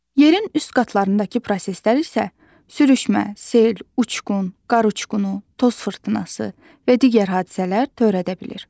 Yerin üst qatındakı proseslər isə sürüşmə, sel, uçqun, qar uçqunu, toz fırtınası və digər hadisələr törədə bilir.